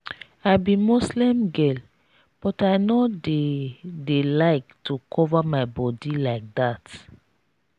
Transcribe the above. i be muslim girl but i no dey dey like to cover my body like dat